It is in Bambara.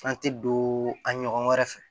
An tɛ don an ɲɔgɔn wɛrɛ fɛ